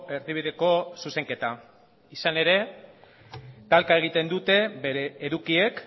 erdibideko zuzenketa izan ere talka egiten dute bere edukiek